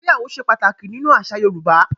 ìgbéyàwó se pataki nínú àṣà Yorùbá.